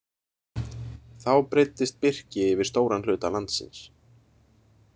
Þá breiddist birki yfir stóran hluta landsins.